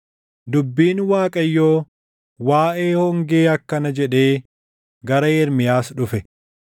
Dubbiin Waaqayyoo waaʼee hongee akkana jedhee gara Ermiyaas dhufe: